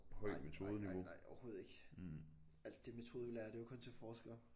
Nej nej nej nej overhovedet ikke. Alt det metode vi lærer det er jo kun til forskere